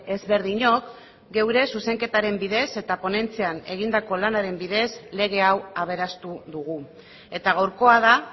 ezberdinok geure zuzenketaren bidez eta ponentzian egindako lanaren bidez lege hau aberastu dugu eta gaurkoa da